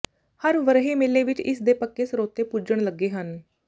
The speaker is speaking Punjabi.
ਹਰ ਵਰ੍ਹੇ ਮੇਲੇ ਵਿਚ ਇਸ ਦੇ ਪੱਕੇ ਸਰੋਤੇ ਪੁੱਜਣ ਲੱਗੇ ਹਨ